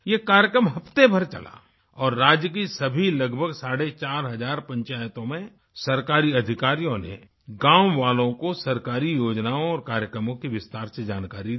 ये कार्यक्रम हफ्ते भर चला और राज्य की सभी लगभग साढ़े चार हजार पंचायतों में सरकारी अधिकारियों ने गाँव वालों को सरकारी योजनाओं और कार्यक्रमों की विस्तार से जानकारी दी